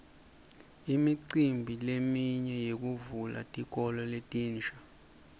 imicimbi leminye yekuvula tikolo letinsha